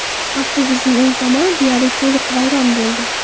Avtobusning o‘ng tomoni deyarli to‘liq vayron bo‘ldi.